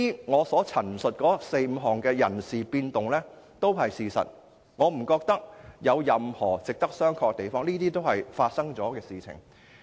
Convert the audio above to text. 我所述的四、五項人事變動都是事實，我不認為有任何值得商榷的地方，並且是已經發生的事。